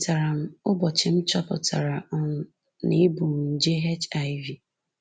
Echetara m ụbọchị m chọpụtara um na ebu m nje HIV